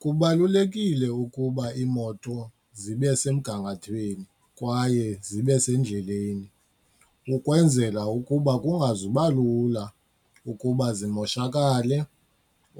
Kubalulekile ukuba iimoto zibe semgangathweni kwaye zibe sendleleni ukwenzela ukuba kungazuba lula ukuba zimoshakale